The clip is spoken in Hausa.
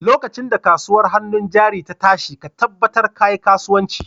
Lokacin da kasuwar hannun jari ta tashi ka tabbatar ka yi kasuwanci!